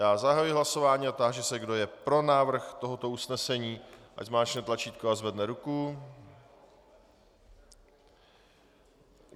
Já zahajuji hlasování a táži se, kdo je pro návrh tohoto usnesení, ať zmáčkne tlačítko a zvedne ruku.